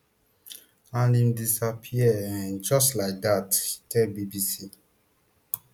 and im disappear um just like dat she tell bbc